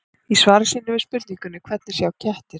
Í svari sínu við spurningunni Hvernig sjá kettir?